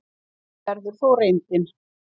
Sú verður þó reyndin.